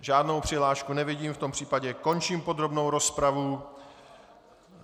Žádnou přihlášku nevidím, v tom případě končím podrobnou rozpravu.